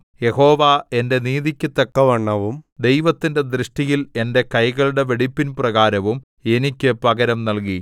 യഹോവ എന്റെ നീതിക്കു തക്കവണ്ണവും ദൈവത്തിന്റെ ദൃഷ്ടിയിൽ എന്റെ കൈകളുടെ വെടിപ്പിൻപ്രകാരവും എനിക്ക് പകരം നല്കി